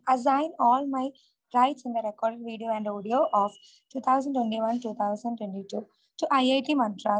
assign all my rights in the recorded video and audio of 2021 - 2022 to IIT Madras